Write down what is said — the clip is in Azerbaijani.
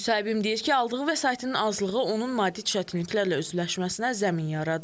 Müsahibim deyir ki, aldığı vəsaitin azlığı onun maddi çətinliklərlə üzləşməsinə zəmin yaradır.